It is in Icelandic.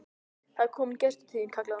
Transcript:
Það er kominn gestur til þín, kallaði hún.